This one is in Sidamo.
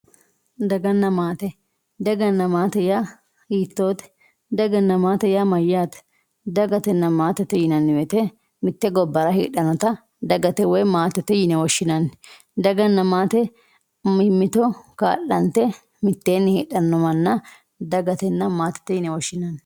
daganna maate. daganna maate yaa mayyaate daganna maatete yinanni woyiite mitte gobbara heedhannota dagate woy maatete yine woshshinanni daganna maate mimmito kaa'lante mitteenni heedhanno manna dagatenna maatete yine woshshinanni.